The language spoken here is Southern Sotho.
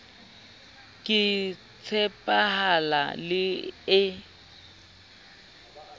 ke e tshepahalang le e